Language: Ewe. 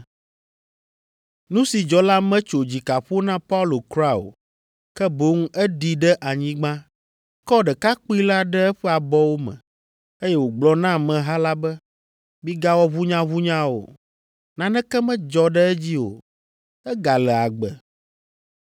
Nu si dzɔ la metso dzika ƒo na Paulo kura o, ke boŋ eɖi ɖe anyigba, kɔ ɖekakpui la ɖe eƒe abɔwo me, eye wògblɔ na ameha la be, “Migawɔ ʋunyaʋunya o, naneke medzɔ ɖe edzi o. Egale agbe.”